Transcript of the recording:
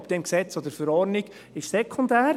Ob im Gesetz oder in der Verordnung, ist sekundär.